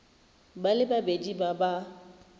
ba le babedi ba ba